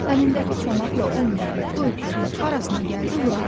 Əlindəki çomaqla o inəyin, bu öküzün harasına gəldi vurardı.